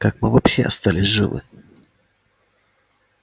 как мы вообще остались живы